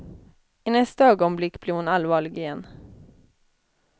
I nästa ögonblick blev hon allvarlig igen.